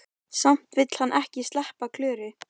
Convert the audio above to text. Samt vill hann ekki sleppa Klöru.